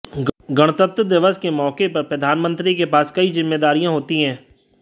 गणतंत्र दिवस के मौके पर प्रधानमंत्री के पास कई जिम्मेदारियां होती हैं